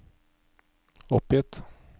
oppgitt